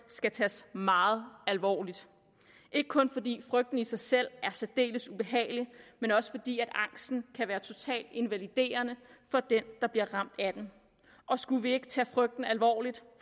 skal tages meget alvorligt ikke kun fordi frygten i sig selv er særdeles ubehagelig men også fordi angsten kan være totalt invaliderende for den der bliver ramt af den og skulle vi ikke tage frygten alvorligt